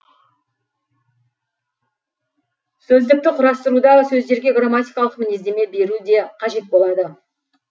сөздікті құрастыруда сөздерге грамматикалық мінездеме беру де қажет болады